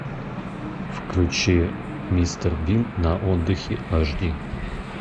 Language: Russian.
включи мистер бин на отдыхе аш ди